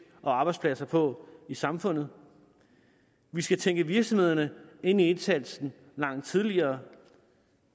og arbejdspladser på i samfundet vi skal tænke virksomhederne ind i indsatsen langt tidligere